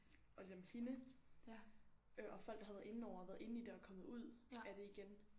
Og lidt om hende øh og folk der havde været inde over og været inde i det og kommet ud af det igen